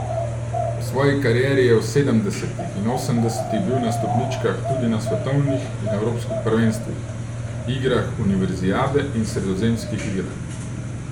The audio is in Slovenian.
V svoji karieri je v sedemdesetih in osemdesetih bil na stopničkah tudi na svetovnih in evropskih prvenstvih, igrah univerzijade in sredozemskih igrah.